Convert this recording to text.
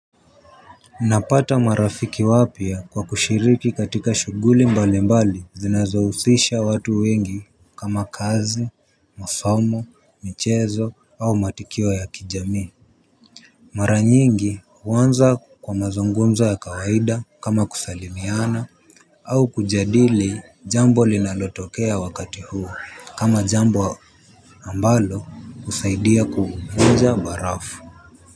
Napata marafiki wapia kwa kushiriki katika shuguli mbali mbali zinazowuhisha watu wengi kama kazi, masomo, michezo au matukio ya kijami. Maranyingi uwanza kwa mazungunzo ya kawaida kama kusalimiana. Au kujadili jambo linalotokea wakati huo kama jambo ambalo husaidia kuvunja barafu.